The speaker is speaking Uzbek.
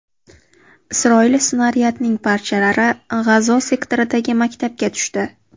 Isroil snaryadining parchalari G‘azo sektoridagi maktabga tushdi.